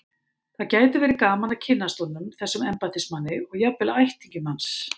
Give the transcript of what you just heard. Það gæti verið gaman að kynnast honum, þessum embættismanni, og jafnvel ættingjum hans.